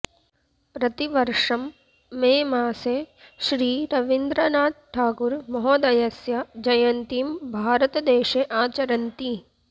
प्रतिवर्षं मे मासे श्री रवीन्द्रनाथठागूर महोदयस्य जयन्तीं भारतदेशे आचरन्ति